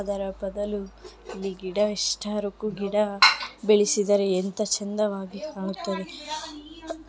ಅದರ ಬದಲು ಇದಿಷ್ಟು ಗಿಡ ಬೆಳೆಸಿದರೆಎಂಥ ಚಂದವಾಗಿ ಹೋಗುತ್ತದೆ